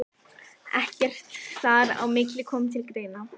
Ekkert þar á milli kom til greina.